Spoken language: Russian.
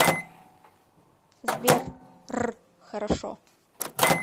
сбер р хорошо